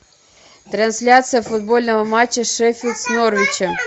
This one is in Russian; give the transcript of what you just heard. трансляция футбольного матча шеффилд с норвичем